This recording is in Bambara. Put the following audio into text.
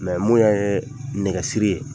Mɛ mun y'an ye nɛgɛ siri ye,